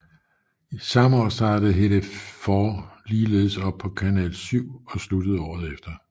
Samme år startede Hedef 4 ligeledes op på Kanal 7 og sluttede året efter